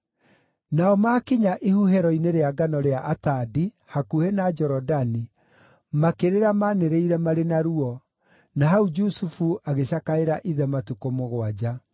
Nao maakinya ihuhĩro-inĩ rĩa ngano rĩa Atadi, hakuhĩ na Jorodani, makĩrĩra manĩrĩire marĩ na ruo; na hau Jusufu agĩcakaĩra ithe matukũ mũgwanja.